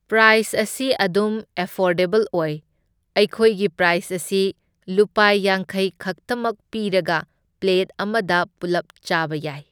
Price ꯑꯁꯤ ꯑꯗꯨꯝ affordable ꯑꯣꯢ, ꯑꯩꯈꯣꯏꯒꯤ ꯄ꯭ꯔꯥꯏꯁ ꯑꯁꯤ ꯂꯨꯄꯥ ꯌꯥꯡꯈꯩ ꯈꯛꯇꯃꯛ ꯄꯤꯔꯒ ꯄ꯭ꯂꯦꯠ ꯑꯃꯗ ꯄꯨꯜꯂꯞ ꯆꯥꯕ ꯌꯥꯏ꯫